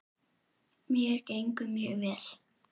Mér gengur mjög vel.